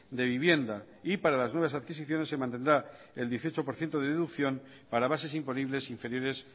de vivienda y para las nuevas adquisiciones se mantendrá el dieciocho por ciento de deducción para bases imponibles inferiores